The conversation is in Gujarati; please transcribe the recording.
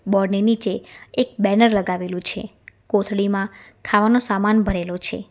બોર્ડ ની નીચે એક બેનર લગાવેલું છે કોથળીમાં ખાવાનો સામાન ભરેલો છે.